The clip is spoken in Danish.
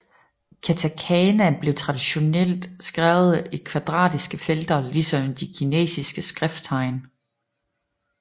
Katakana blev traditionelt skrevet i kvadratiske felter ligesom de kinesiske skrifttegn